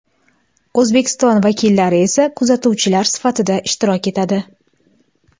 O‘zbekiston vakillari esa kuzatuvchilar sifatida ishtirok etadi.